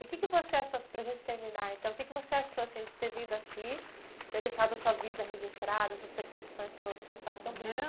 E o que que você achou, para gente terminar então, o que que você achou assim, a gente ter vindo aqui, ter deixado a sua vida registrada, essas percepções todas, essa história tão bonita.